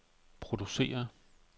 producerer